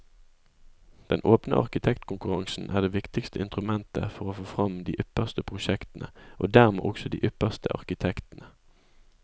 Den åpne arkitektkonkurransen er det viktigste instrumentet for å få fram de ypperste prosjektene, og dermed også de ypperste arkitektene.